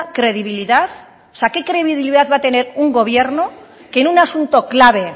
credibilidad qué credibilidad va a tener un gobierno que en un asunto clave